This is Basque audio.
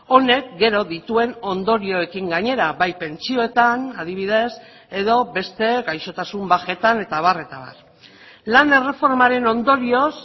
honek gero dituen ondorioekin gainera bai pentsioetan adibidez edo beste gaixotasun bajetan eta abar eta abar lan erreformaren ondorioz